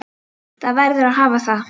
Það verður að hafa það.